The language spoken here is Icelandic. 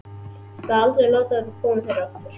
Ég skal aldrei láta þetta koma fyrir aftur.